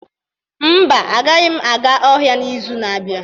Mba, agaghị m aga ọhịa n'izu na-abịa.